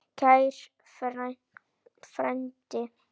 Kæri frændi.